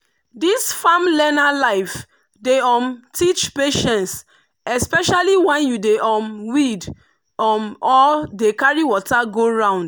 this farm learner life dey um teach patience especially when you dey um weed um or dey carry water go round.